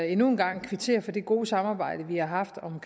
endnu en gang kvittere for det gode samarbejde vi har haft om